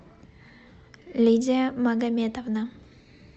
лидия магомедовна